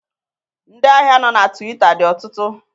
Ndị ahịa nọ na tiwita dị ọtụtụ.